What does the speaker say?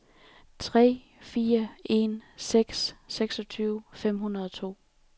tre fire en seks seksogtyve fem hundrede og to